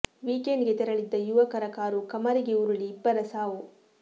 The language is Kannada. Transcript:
ವೀಕೆಂಡ್ ಗೆ ತೆರಳಿದ್ದ ಯುವಕರ ಕಾರು ಕಮರಿಗೆ ಉರುಳಿ ಇಬ್ಬರ ಸಾವು